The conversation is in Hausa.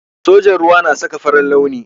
Sojan ruwa na saka farin launi.